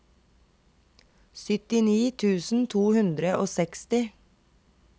syttini tusen to hundre og seksti